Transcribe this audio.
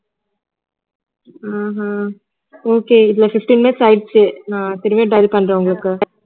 உம் உம் okay இதுல fifteen minutes ஆயிடுச்சு நான் திருப்பியும் dial பண்றேன் உங்களுக்கு